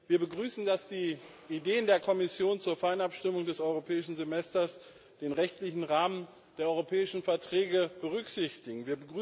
Wir begrüßen, dass die Ideen der Kommission zur Feinabstimmung des Europäischen Semesters den rechtlichen Rahmen der europäischen Verträge berücksichtigen.